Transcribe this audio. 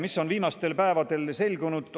Mis on viimastel päevadel selgunud?